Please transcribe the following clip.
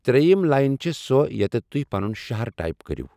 ترٚیِم line چھَ سۄ یتٮ۪تھ تُہۍ پنُن شہر ٹائپ کٔرِو۔